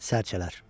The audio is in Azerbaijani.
Sərçələr.